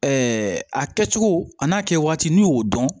a kɛcogo a n'a kɛ waati n'i y'o dɔn